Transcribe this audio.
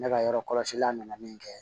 Ne ka yɔrɔ kɔlɔsila nana min kɛ